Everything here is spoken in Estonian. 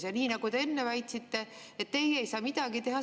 Ja nagu te enne väitsite, teie ei saa midagi teha.